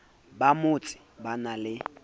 ba motse ba na le